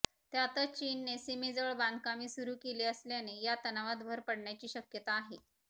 त्यातच चीनने सीमेजवळ बांधकामे सुरू केली असल्याने या तणावात भर पडण्याची शक्यता आहे